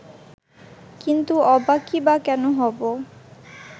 কিন্তু অবাকই বা কেন হব